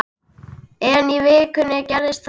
En í vikunni gerðist það.